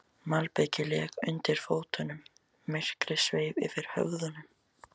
Malbikið lék undir fótunum, myrkrið sveif yfir höfðunum.